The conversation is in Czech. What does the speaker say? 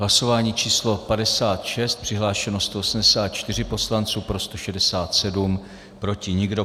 Hlasování číslo 56, přihlášeno 184 poslanců, pro 167, proti nikdo.